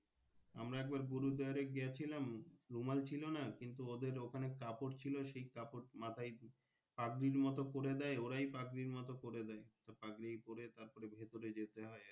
আমরা একবার গুরুদুয়ারে গিয়েছিলাম রুমাল ছিলোনা কিন্তু ওদের ওখানে কাপড় ছিল সেই কাপড় ছিল সেই কাপড় মাথায় পাগড়ির মতো করে দেয় ওরাই পাগড়ির মতো করে দেয় তো পাগড়ি পরে ভেতরে যেতে হয়।